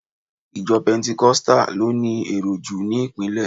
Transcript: Ìjo pentecostal lo ni èrò jù ni ìpínlè